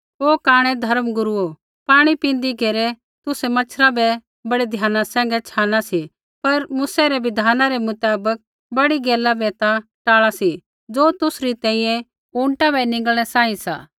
ओ कांणै धर्मगुरूओ पाणी पींदी घेरै तुसै मच्छरा बै बड़ै ध्याना सैंघै छ़ाना सी पर मूसै रै बिधाना रै मुताबक बड़ी गैला बै ता टाल़ा सी ज़ो तुसरी तैंईंयैं ऊँटा बै निंगल़नै सांही सा